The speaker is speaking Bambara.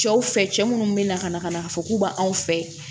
Cɛw fɛ cɛ minnu bɛ na ka na ka na fɔ k'u b'anw fɛ